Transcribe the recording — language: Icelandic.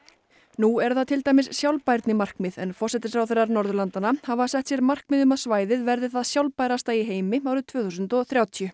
nú eru það til dæmis sjálfbærnimarkmið en forsætisráðherrar Norðurlandanna hafa sett sér markmið um að svæðið verði það sjálfbærasta í heimi árið tvö þúsund og þrjátíu